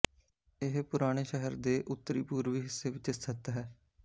ਇਹ ਪੁਰਾਣੇ ਸ਼ਹਿਰ ਦੇ ਉੱਤਰੀਪੂਰਬੀ ਹਿੱਸੇ ਵਿੱਚ ਸਥਿਤ ਹੈ